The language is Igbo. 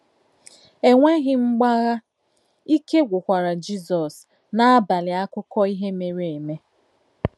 Ènwéghi mgbàghà, ìké gwúkwara Jizọ́s n’àbàlị̀ àkúkò ìhè méré émé.